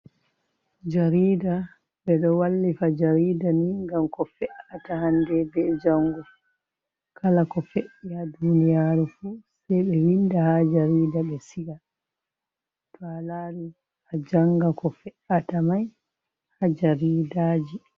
Jarida be do wallifa jarida ni gam ko fe’ata hande be jango, kala ko fe’i ha duniyaru fu sai ɓe winda ha jarida be siqa, to a lari a janga ko fe’ata mai ha jaridaji.